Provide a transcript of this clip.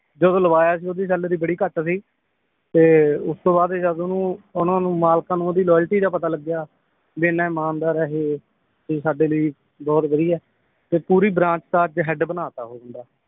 ਜਦੋਂ ਲਵਾਇਆ ਸੀ ਓਹਦੀ ਸੈਲਰੀ ਬੜੀ ਘੱਟ ਸੀ ਤੇ ਉਸ ਤੋਂ ਬਾਅਦ ਓਹਨੂੰ ਉਹਨਾਂ ਨੂੰ ਮਾਲਕਾਂ ਨੂੰ ਇਹਦੀ loyalty ਦਾ ਪਤਾ ਲੱਗਿਆ ਵੀ ਇਹਨਾਂ ਇਮਾਨਦਾਰ ਆ ਇਹ ਇਹ ਸਾਡੇ ਲਈ ਬਹੁਤ ਵਧੀਆ ਏ ਤੇ ਪੂਰੀ ਬ੍ਰਾਂਚ ਦਾ ਹੈਡ ਬਣਾ ਤਾ ਉਹ ਬੰਦਾ